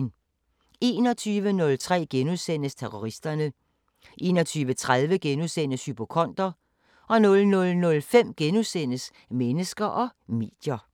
21:03: Terroristerne * 21:30: Hypokonder * 00:05: Mennesker og medier *